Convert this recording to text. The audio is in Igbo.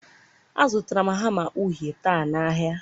a zụtara m hama uhie taa na ahịa.